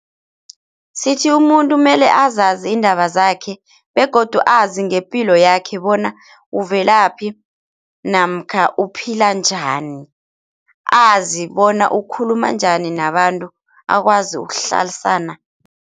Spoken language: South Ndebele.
Sithi umuntu mele azazi indaba zakhe begodu azi ngepilo yakhe bona uvelaphi namkha uphila njani, azi bona ukhuluma njani nabantu akwazi ukuhlalisana